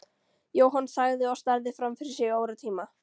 Jóhann þagði og starði fram fyrir sig í óratíma.